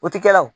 O ti kɛ o